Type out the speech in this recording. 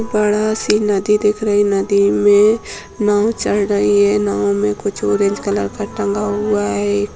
बड़ा सी नदी दिख रही है नदी में नाव चढ़ रही है नाव में कुछ ऑरेंज कलर का टंगा हुआ है।